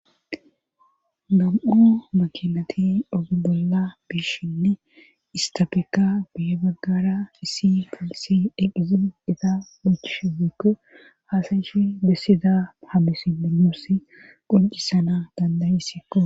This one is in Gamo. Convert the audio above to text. Gam7o makinati ogi bolla biishinne istapeka biye baggara isi pilisi eqizin iza mochishewekko haasayishi dessida hamisiminooss qoncisana dandaesikko.